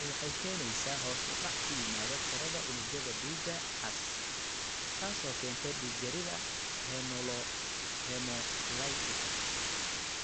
Tani waxay keenaysaa hoos u dhac ku yimaada tirada unugyada dhiigga cas, taasoo keenta dhiig-yarida hemolytika